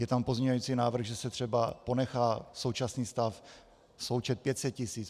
Je tam pozměňující návrh, že se třeba ponechá současný stav, součet 500 tisíc.